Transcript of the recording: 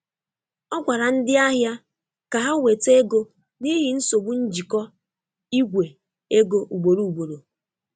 Ọ gwara ndị ahịa ka ha weta ego n'ihi nsogbu njikọ Ìgwè ego ugboro ugboro.